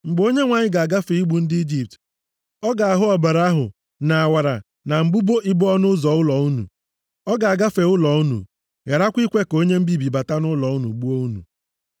Mgbe Onyenwe anyị ga-agafe igbu ndị Ijipt, ọ ga-ahụ ọbara ahụ nʼawara na mbudo ibo ọnụ ụzọ ụlọ unu. Ọ ga-agafe ụlọ unu, gharakwa ikwe ka onye mbibi bata nʼụlọ unu gbuo unu.